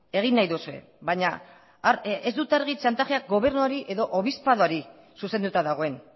egin nahi duzue baina ez dut argi txantajeak gobernuari edo obispadoari zuzenduta dagoen